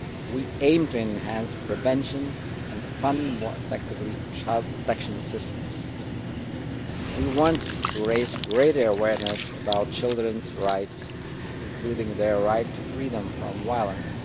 We aim to enhance prevention, and to fund more effectively child protection systems. We want to raise greater awareness about children's rights, including their right to freedom from violence.